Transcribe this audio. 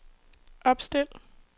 opstil